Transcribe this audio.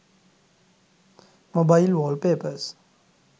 mobile wallpapers